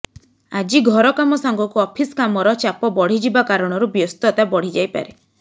ଆଜି ଘର କାମ ସାଙ୍ଗକୁ ଅଫିସ୍ କାମର ଚାପ ବଢିଯିବା କାରଣରୁ ବ୍ୟସ୍ତତା ବଢି ଯାଇପାରେ